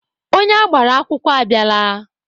Onye agbara akwụkwọ abịala.